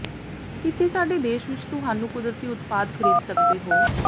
ਕਿੱਥੇ ਸਾਡੇ ਦੇਸ਼ ਵਿੱਚ ਤੁਹਾਨੂੰ ਕੁਦਰਤੀ ਉਤਪਾਦ ਖਰੀਦ ਸਕਦੇ ਹੋ